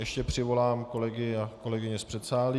Ještě přivolám kolegy a kolegyně z předsálí...